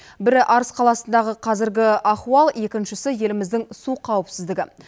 бірі арыс қаласындағы қазіргі ахуал екіншісі еліміздің су қауіпсіздігі